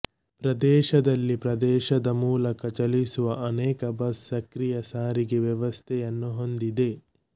ಪ್ರದೇಶದಲ್ಲಿ ಪ್ರದೇಶದ ಮೂಲಕ ಚಲಿಸುವ ಅನೇಕ ಬಸ್ ಸಕ್ರಿಯ ಸಾರಿಗೆ ವ್ಯವಸ್ಥೆಯನ್ನು ಹೊಂದಿದೆ